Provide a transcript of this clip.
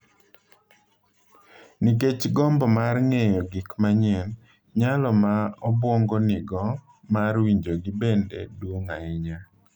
Nikech gombo mar ng’eyo gik manyien, nyalo ma obwongo nigo mar winjogi bende duong’ ahinya.